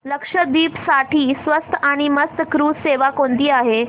लक्षद्वीप साठी स्वस्त आणि मस्त क्रुझ सेवा कोणती आहे